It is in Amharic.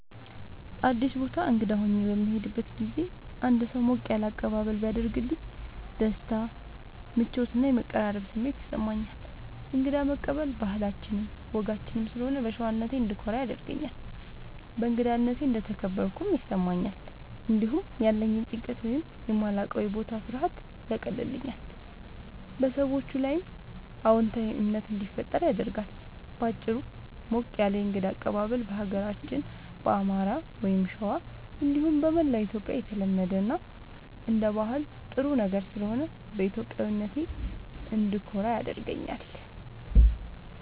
አዲስ ቦታ እንግዳ ሆኜ በምሄድበት ጊዜ አንድ ሰው ሞቅ ያለ አቀባበል ቢያደርግልኝ ደስታ፣ ምቾት እና የመቀራረብ ስሜት ይሰማኛል። እንግዳ መቀበል ባህላችንም ወጋችንም ስለሆነ በሸዋነቴ እንድኮራ ያደርገኛል። በእንግዳነቴ እንደተከበርኩም ይሰማኛል። እንዲሁም ያለኝን ጭንቀት ወይም የማላዉቀዉ የቦታ ፍርሃት ያቀልልኛል፣ በሰዎቹም ላይ አዎንታዊ እምነት እንዲፈጠር ያደርጋል። በአጭሩ፣ ሞቅ ያለ የእንግዳ አቀባበል በሀገራችን በአማራ(ሸዋ) እንዲሁም በመላዉ ኢትዮጽያ የተለመደ እና አንደ ባህል ጥሩ ነገር ስለሆነ በኢትዮጵያዊነቴ እንድኮራ ያደርገኛል።